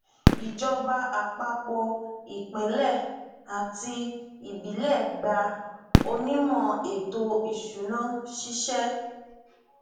ìjọba àpapọ ìpínlẹ àti ìbílẹ gba onímò ètò ìsúná ṣíṣẹ